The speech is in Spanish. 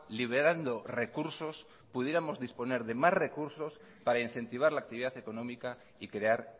liberando recursos pudiéramos disponer de más recursos para incentivar la actividad económica y crear